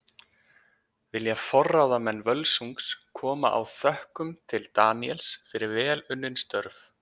Vilja forráðamenn Völsungs koma á þökkum til Daníels fyrir vel unnin störf.